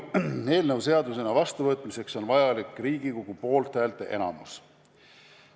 Eelnõu seadusena vastuvõtmiseks on vajalik Riigikogu poolthäälteenamus.